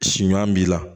Si ɲuman b'i la